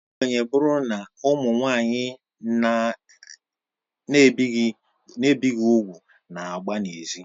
Ekwenye bụrụ na: Ụmụ nwanyị a na-ebighị úgwù na-agba na ezi.